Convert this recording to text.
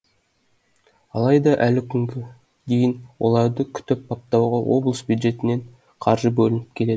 алайда әлі күнге дейін оларды күтіп баптауға облыс бюджетінен қаржы бөлініп келеді